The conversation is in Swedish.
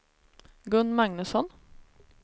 Gun Magnusson